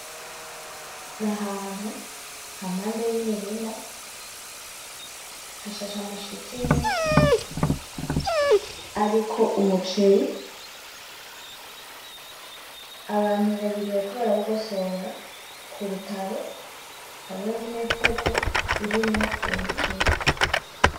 Ni ahantu hampande y'imirima hashashe ama shitingi ariko umuceri abantu babiri bariko barawugosora kurutaro hariho n'imifuko irimwo uwo muceri.